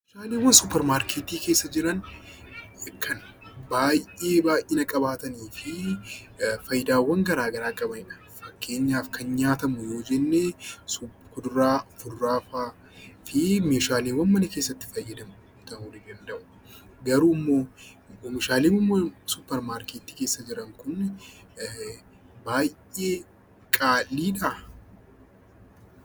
Oomishaaleen suupparmaarkeetii keessa jiran baay'ee baay'ina qabaatanii fi fayidaawwan garaagaraa qabanidha. Fakkeenyaaf kan nyaatamu yoo jenne, fuduraa, kuduraa fa'aa fi meeshaaleewwan mana keessatti fayyadamnu ta'uu danda'u. Geruu meeshaaleen suupparmaarkeetii keessa jiran baay'ee qaaliidha.